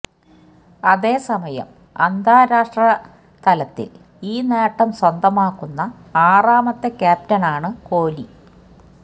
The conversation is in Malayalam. അതേസമയം അന്താരാഷ്ട്ര തലത്തില് ഈ നേട്ടം സ്വന്തമാക്കുന്ന ആറാമത്തെ ക്യാപ്റ്റനാണ് കോലി